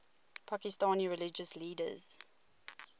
pakistani religious leaders